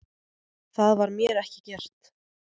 Það var mér ekki gert